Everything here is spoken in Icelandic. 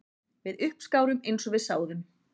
Við uppskárum eins og við sáðum